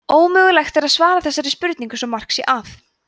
ómögulegt er að svara þessari spurningu svo mark sé að